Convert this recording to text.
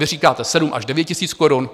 Vy říkáte 7 až 9 tisíc korun.